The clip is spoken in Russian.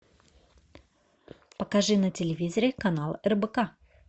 покажи на телевизоре канал рбк